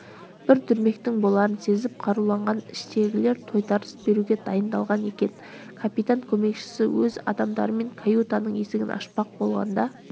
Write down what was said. бір дүрмектің боларын сезіп қаруланған іштегілер тойтарыс беруге дайындалған екен капитан көмекшісі өз адамдарымен каютаның есігін ашпақ болғанда